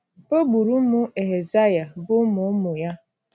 O gburu ụmụ Ehazaya, bụ́ ụmụ ụmụ ya!